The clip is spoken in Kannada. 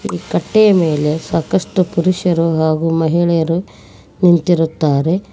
ಕಟ್ಟೆಯ ಮೇಲೆ ಸಾಕಷ್ಟು ಪುರುಷರು ನಗು ಮಹಿಳೆಯರು ನಿಂತಿರುತ್ತಾರೆ.